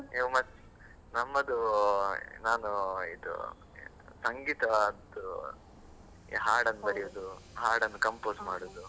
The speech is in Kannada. ನಮ್ಮದು ನಾನು ಇದು ಎಂತ ಸಂಗೀತದ್ದು ಈ ಹಾಡನ್ನು ಬರಿಯುವುದು compose ಮಾಡುವುದು.